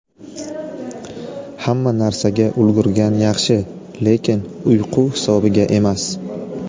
Hamma narsaga ulgurgan yaxshi, lekin uyqu hisobiga emas.